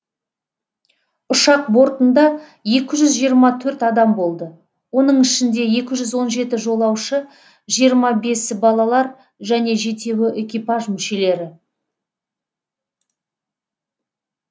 ұшақ бортында екі жүз жиырма төрт адам болды оның ішінде екі жүз он жеті жолаушы жиырма бесі балалар және жетеуі экипаж мүшелері